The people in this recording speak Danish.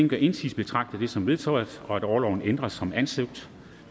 gør indsigelse betragter jeg det som vedtaget at orloven ændres som ansøgt